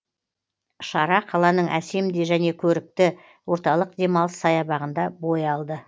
шара қаланың әсем де және көрікті орталық демалыс саябағында бой алды